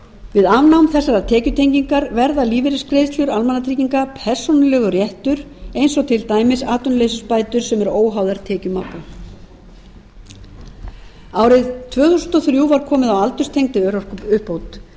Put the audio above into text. við afnám þessarar tekjutengingar verða lífeyrisgreiðslur almannatrygginga persónulegur réttur eins og til dæmis atvinnuleysisbætur sem eru óháðar tekjum maka árið tvö þúsund og þrjú var komið á aldurstengdri örorkuuppbót